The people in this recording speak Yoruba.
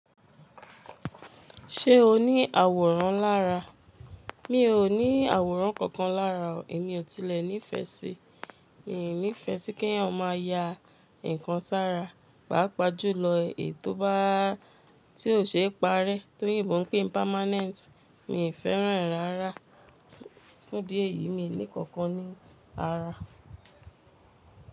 Ṣé o ní àwòrán lára? Mi ò ní àwòrán kankan lára o. Èmi ò tilẹ̀ nífẹ̀ẹ́ sí, mi ò nífẹ̀ẹ́ sí kí èèyàn máa ya nǹkan sára, pàápàá jùlọ èyí tó bá, tí ò ṣe é parẹ́ torí ìbọn pé permanent. Mi ò fẹ́ràn rárá, fún díẹ̀ yìí mi ní kankan ní ara.